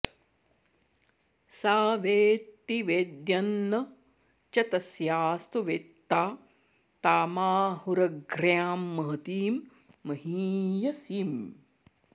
सा वेत्ति वेद्यं न च तस्यास्तु वेत्ता तामाहुरग्र्यां महतीं महीयसीम्